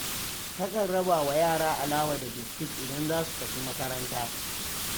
Takan raba wa yara alawa da biskit idan za su tafi makaranta.